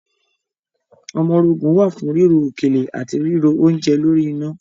Ọmọrogùn wà fún ríro òkèlè àti ríro oúnje lórí iná.